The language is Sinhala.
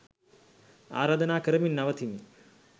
අරාධනා කරමින් නවතිමි.